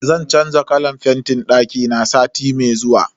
Zan canza kalan fentin dakina sati mai zuwa.